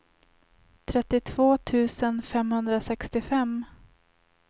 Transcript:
trettiotvå tusen femhundrasextiofem